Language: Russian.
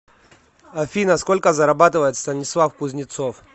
афина сколько зарабатывает станислав кузнецов